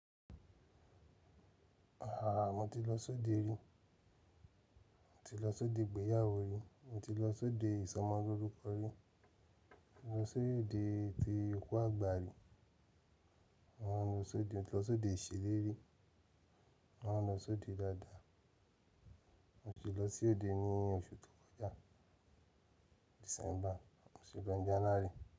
Mo ti lọ sí òde rí, mo ti lọ sí òde ìgbéyàwó rí, mo ti lọ sí òde ìsọmọlórúkọ rí, mo ti lọ sí òde ti òkú àgbà rí, mo ń lọ s'òde, mo ti lọ sí òde ìṣèlérí, mo máa lọ sí òde dáadáa, mo ti lọ sí òde ní oṣù tó kọjá, December, mo sì lọ̀ ní January.